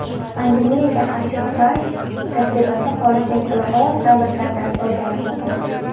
Pandemiyaga qarshi kurash tajribasi xorijning ilg‘or davlatlaridan o‘rganilmoqda.